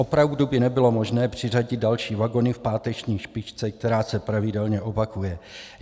Opravdu by nebylo možné přiřadit další vagony v páteční špičce, která se pravidelně opakuje?